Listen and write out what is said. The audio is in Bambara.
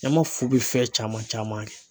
Ɲama fu bɛ fɛn caman caman kɛ